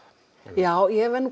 já ég verð